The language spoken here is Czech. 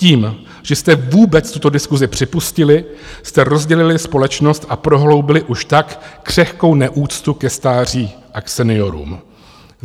Tím, že jste vůbec tuto diskusi připustili, jste rozdělili společnost a prohloubili už tak křehkou neúctu ke stáří a k seniorům.